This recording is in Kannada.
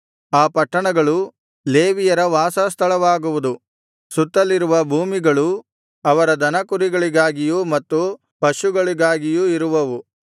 ಆ ಪಟ್ಟಣಗಳು ಲೇವಿಯರ ವಾಸ ಸ್ಥಳವಾಗುವುದು ಸುತ್ತಲಿರುವ ಭೂಮಿಗಳು ಅವರ ದನಕುರಿಗಳಿಗಾಗಿಯೂ ಮತ್ತು ಪಶುಗಳಿಗಾಗಿಯೂ ಇರುವವು